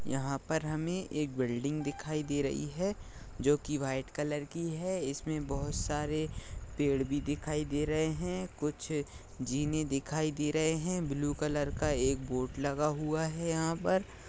यहाँ पर हमे एक बिल्डिंग दिखाई दे रही है जो की व्हाइट कलर की है इसमें बहुत सारे पेड़ भी दिखाई दे रहे है कुछ ज़ीने दिखाई दे रहे है ब्लू कलर का एक बोर्ड लगा हुआ है यहाँ पर।